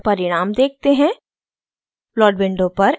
अब plot window पर परिणाम देखते हैं